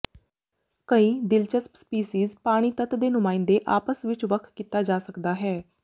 ਕਈ ਦਿਲਚਸਪ ਸਪੀਸੀਜ਼ ਪਾਣੀ ਤੱਤ ਦੇ ਨੁਮਾਇੰਦੇ ਆਪਸ ਵਿੱਚ ਵੱਖ ਕੀਤਾ ਜਾ ਸਕਦਾ ਹੈ